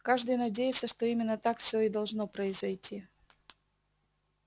каждый надеется что именно так всё и должно произойти